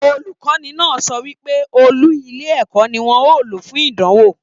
Olukọni náà sọ wípé ọọlú ilé ẹ̀kọ́ ní wọn o ló fún ìdánwò.